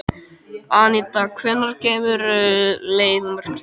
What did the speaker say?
Anita, hvenær kemur leið númer tvö?